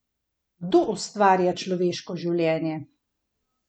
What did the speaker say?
Kdo ustvarja človeško življenje?